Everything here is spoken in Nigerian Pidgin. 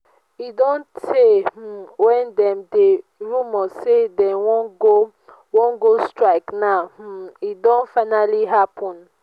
e don tey um wey dem dey rumor say dey wan go wan go strike now um e don finally happen